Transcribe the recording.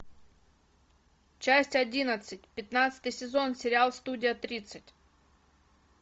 часть одиннадцать пятнадцатый сезон сериал студия тридцать